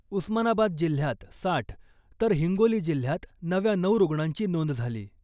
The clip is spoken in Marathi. उस्मानाबाद जिल्ह्यात साठ, तर हिंगोली जिल्ह्यात नव्या नऊ रुग्णांची नोंद झाली .